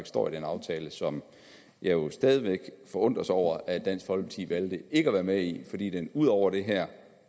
står i den aftale som jeg stadig væk forundres over at dansk folkeparti valgte ikke at være med i fordi den ud over det her